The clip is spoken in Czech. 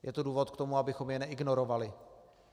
Je to důvod k tomu, abychom je neignorovali.